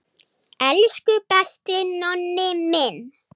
Elsku besti Nonni minn.